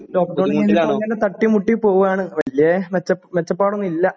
lockdown കഴിഞ്ഞിട്ടിങ്ങനെ തട്ടിമുട്ടി പോകുവാണ് വല്ല്യ മെച്ച മെച്ചപ്പാടൊന്നും ഇല്ല